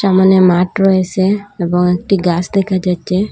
সামোনে মাঠ রয়েসে এবং একটি গাস দেখা যাচ্ছে।